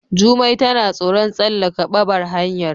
Jumai tana tsoron tsallaka ɓabar hanyar.